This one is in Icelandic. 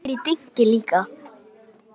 Ég heyri dynki líka.